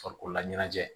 Farikololaɲɛnajɛ